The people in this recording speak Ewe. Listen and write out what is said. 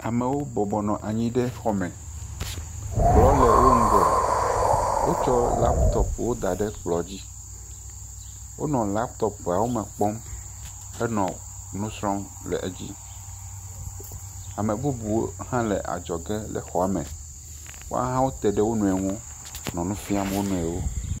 Amewoo bɔbɔnɔ anyi ɖe xɔ me, kplɔ le wo ŋgɔ. Wotsɔ lapitɔpuwo da ɖe kplɔ dzi. Wonɔ lapitɔpuawo me kpɔm henɔ nu srɔm le edzi. Ame bubuwo hã le adzɔ ge le xɔa me. Yahã wote ɖe wonɔnɔe wo ŋu nɔ nu fiam wo nɔewo.